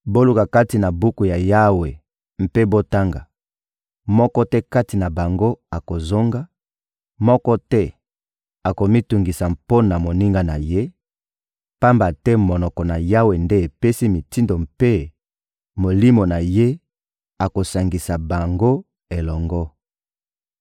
Boluka kati na buku ya Yawe mpe botanga: Moko te kati na bango akozanga, moko te akomitungisa mpo na moninga na ye; pamba te monoko na Yawe nde epesi mitindo mpe Molimo na Ye akosangisa bango elongo.